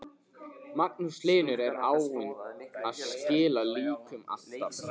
Magnús Hlynur: Er áin að skila líkum alltaf?